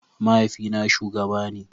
Mahaifina shugaba ne.